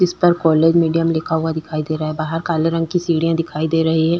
इस पर college medium लिखा हुआ दिखाई दे रहा है बाहर काले रंग की सीढ़ियां दिखाई दे रही है।